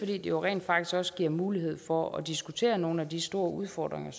det jo rent faktisk også giver mulighed for at diskutere nogle af de store udfordringer